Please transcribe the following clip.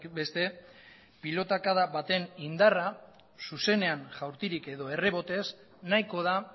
beste pilotakada baten indarra zuzenean jaurtirik edo errebotez nahiko da